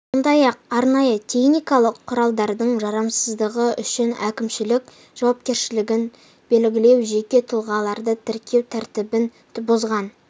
сондай-ақ арнайы теіникалық құралдардың жарамсыздығы үшін әкімшілік жауапкершілігін белгілеу жеке тұлғаларды тіркеу тәртібін бұзған